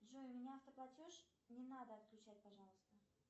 джой у меня автоплатеж не надо отключать пожалуйста